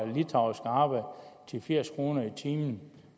litauiske arbejdere til firs kroner i timen